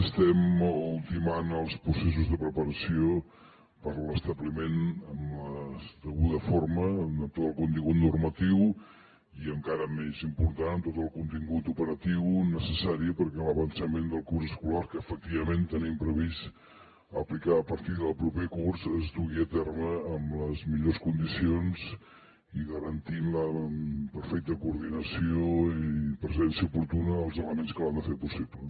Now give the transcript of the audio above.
estem ultimant els processos de preparació per a l’establiment amb la deguda forma amb tot el contingut normatiu i encara més important amb tot el contingut operatiu necessari perquè l’avançament del curs escolar que efectivament tenim previst aplicar a partir del proper curs es dugui a terme amb les millors condicions i garantint la perfecta coordinació i presència oportuna dels elements que l’han de fer possible